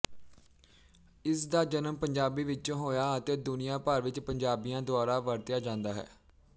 ਇਸ ਦਾ ਜਨਮ ਪੰਜਾਬੀ ਵਿੱਚੋਂ ਹੋਇਆ ਅਤੇ ਦੁਨੀਆ ਭਰ ਵਿੱਚ ਪੰਜਾਬੀਆਂ ਦੁਆਰਾ ਵਰਤਿਆ ਜਾਂਦਾ ਹੈ